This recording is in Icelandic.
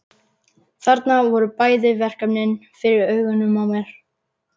Þarna voru bæði verkefnin fyrir augunum á mér.